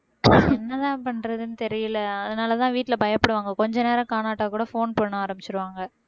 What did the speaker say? என்னதான் பண்றதுன்னு தெரியலே அதனாலதான் வீட்டுல பயப்படுவாங்க கொஞ்ச நேரம் காணாவிட்டால் கூட phone பண்ண ஆரம்பிச்சிருவாங்க